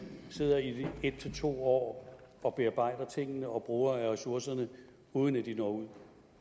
sidder i en to år og bearbejder tingene og bruger af ressourcerne uden at de når ud